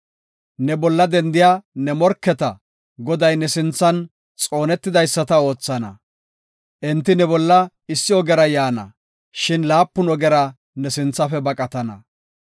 Ne bolla dendiya ne morketa, Goday ne sinthan xoonetidaysata oothana. Enti ne bolla issi ogera yaana, shin laapun ogera ne sinthafe baqatana.